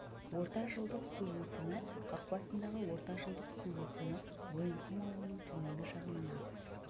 ортажылдық су өтімі қақпасындағы ортажылдық су өтімі мойынқұм ауылының төменгі жағынан ағып